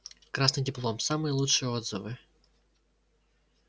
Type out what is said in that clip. красный диплом самые лучшие отзывы